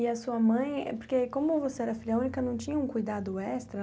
E a sua mãe, é porque como você era filha única, não tinha um cuidado extra?